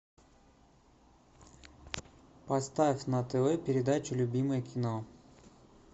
поставь на тв передачу любимое кино